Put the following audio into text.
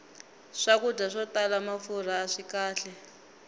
swakudya swo tala mafurha aswi kahle